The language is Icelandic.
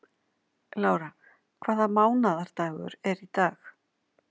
Lára, hvaða mánaðardagur er í dag?